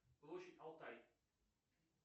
площадь алтай